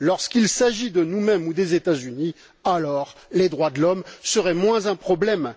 Lorsqu'il s'agit de nous mêmes et des États Unis, les droits de l'homme seraient moins un problème.